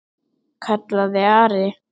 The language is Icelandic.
kallaði Ari.